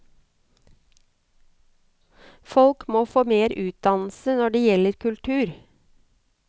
Folk må få mer utdannelse når det gjelder kultur.